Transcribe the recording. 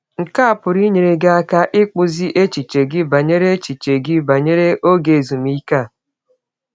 Nke a pụrụ inyere gị aka ịkpụzi echiche gị banyere echiche gị banyere ọge ezụmịke a.